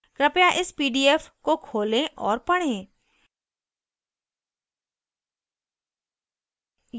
कृपया इस pdf को खोलें और पढ़ें